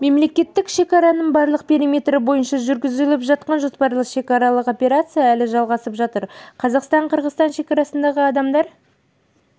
мемлекеттік шекараның барлық периметрі бойынша жүргізіліп жатқан жоспарлы шекаралық операция әлі жалғасып жатыр қазақстн-қырғызстан шекарасындағы адамдар